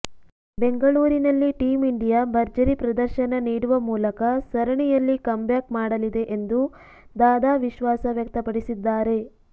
ಬೆಂಗಳೂರಿನಲ್ಲಿ team India ಭರ್ಜರಿ ಪ್ರದರ್ಶನ ನೀಡುವ ಮೂಲಕ ಸರಣಿಯಲ್ಲಿ ಕಮ್ ಬ್ಯಾಕ್ ಮಾಡಲಿದೆ ಎಂದು ದಾದಾ ವಿಶ್ವಾಸ ವ್ಯಕ್ತಪಡಿಸಿದ್ದಾರೆ